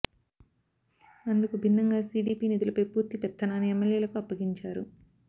అందుకు భిన్నంగా సీడీపీ నిధులపై పూర్తి పెత్తనాన్ని ఎమ్మెల్యేలకు అప్పగించారు